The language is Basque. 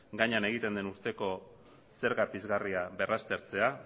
gainean egiten den urteko zerga pizgarria berraztertzea